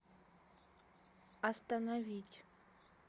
остановить